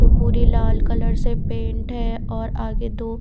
तो पूरी लाल कलर से पेंट है और आगे दो--